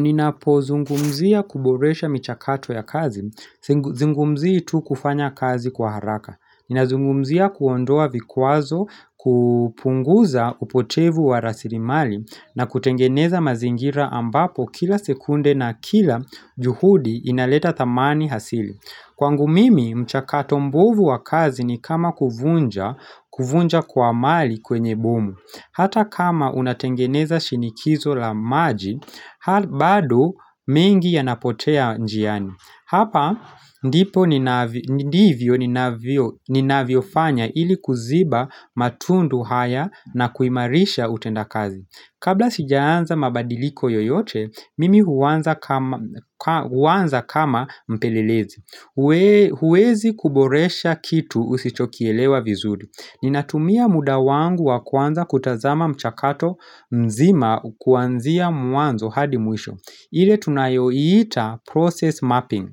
Ninapozungumzia kuboresha michakato ya kazi sing Zungumzii tu kufanya kazi kwa haraka Ninazungumzia kuondoa vikwazo kupunguza upotevu wa rasirimali na kutengeneza mazingira ambapo kila sekunde na kila juhudi inaleta thamani hasili Kwangu mimi, mchakato mbuvu wa kazi ni kama kuvunja kuvunja kwa mali kwenye bomu Hata kama unatengeneza shinikizo la maji, bado mengi yanapotea njiani Hapa ndipo ninav ndivyo ninavio ninavyofanya ili kuziba matundu haya na kuimarisha utenda kazi Kabla sijaanza mabadiliko yoyote, mimi huanza kama m ka huanza kama mpelelezi hue huwezi kuboresha kitu usichokielewa vizuri Ninatumia muda wangu wa kwanza kutazama mchakato mzima kuanzia mwanzo hadi mwisho ile tunayoita process mapping